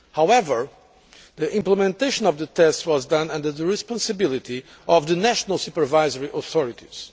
However, the implementation of the tests was carried out under the responsibility of the national supervisory authorities.